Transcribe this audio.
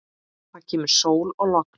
Það kemur sól og logn.